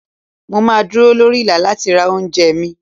Mo máa dúró lórí Ìlà láti ra oúnjẹ mi.